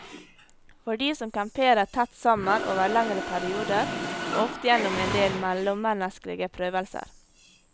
For de som camperer tett sammen over lengre perioder, må ofte gjennom endel mellommenneskelige prøvelser.